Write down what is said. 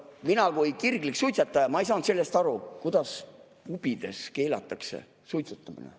Mina kui kirglik suitsetaja ei saanud aru, kuidas pubides keelatakse suitsetamine.